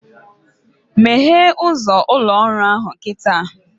Meghee ụzọ ụlọ ọrụ ahụ kịta!